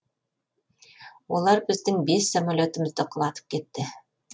олар біздің бес самолетімізді құлатып кетті